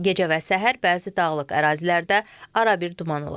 Gecə və səhər bəzi dağlıq ərazilərdə arabir duman olacaq.